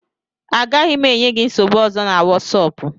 Agaghị m enye gị nsogbu ọzọ na Wosopu